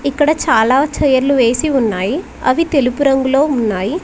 ఇక్కడ చాలా చైర్లు వేసి ఉన్నాయి అవి తెలుపు రంగులో ఉన్నాయి.